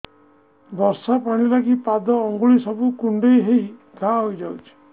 ବର୍ଷା ପାଣି ଲାଗି ପାଦ ଅଙ୍ଗୁଳି ସବୁ କୁଣ୍ଡେଇ ହେଇ ଘା ହୋଇଯାଉଛି